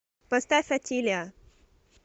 поставь отилиа